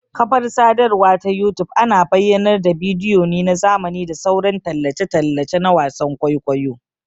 Ƙafar sadarwa ta youtube ana bayyanar da bidiyo ne na zamani da sauran tallace-tallace na wasan ƘwaiƘwaiyo